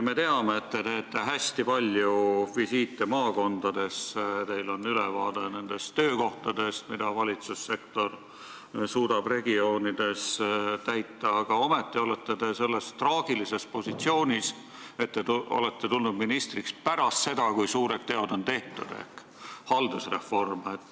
Me teame, et te teete hästi palju visiite maakondadesse, teil on ülevaade nendest töökohtadest, mida valitsussektor suudab regioonides täita, aga ometi olete te selles traagilises positsioonis, et te olete tulnud ministriks pärast seda, kui suured teod ehk haldusreform on tehtud.